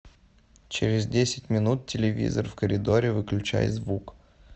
через десять минут телевизор в коридоре выключай звук